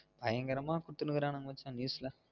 பயங்கரமா குடுதுருகங்க மச்சா news ல